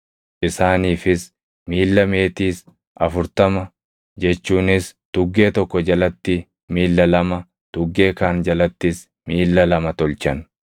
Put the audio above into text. Isaaniifis miilla meetiis afurtama jechuunis tuggee tokko jalatti miilla lama, tuggee kaan jalattis miilla lama tolchan.